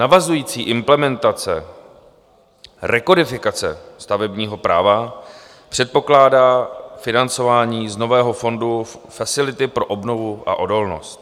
Navazující implementace rekodifikace stavebního práva předpokládá financování z nového fondu Facility pro obnovu a odolnost.